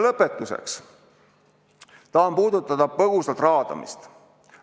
Lõpetuseks tahan põgusalt puudutada raadamist.